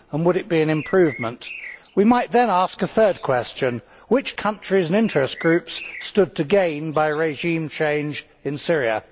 And would it be an improvement? We might then ask a third question, which countries and interest groups stood to gain by regime change in Syria?